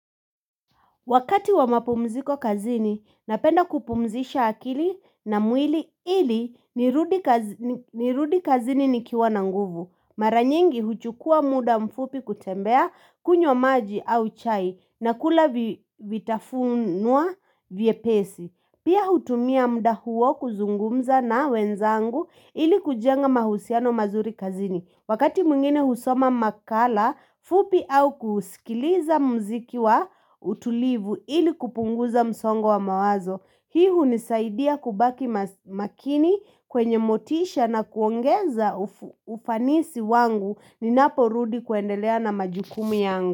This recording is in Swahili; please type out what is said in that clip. Wakati wa mapumziko kazini, napenda kupumzisha akili na mwili ili nirudi kazini nikiwa na nguvu. Maranyingi huchukua muda mfupi kutembea kunywa maji au chai na kula vitafunwa vyepesi. Pia hutumia mda huo kuzungumza na wenzangu ili kujenga mahusiano mazuri kazini. Wakati mwingine husoma makala, fupi au kusikiliza mziki wa utulivu ili kupunguza msongo wa mawazo. Hii hunisaidia kubaki makini kwenye motisha na kuongeza ufanisi wangu ninapo rudi kuendelea na majukumi yangu.